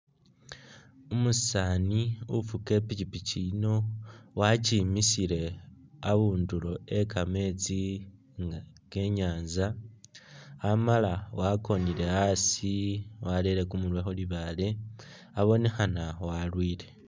Umusani ufuga ipikipiki yino wakyimisile abundulo we'kameetsi ke'nyanza amala wakonile asi warere kumurwe khulibaale abonekhana walwile